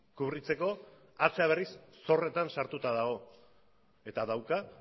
kubritzeko atzera berriz ere zorretan sartua dago eta dauka